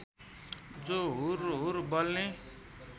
जो हुरहुर बल्ने